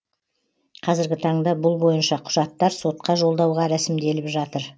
қазіргі таңда бұл бойынша құжаттар сотқа жолдауға рәсімделіп жатыр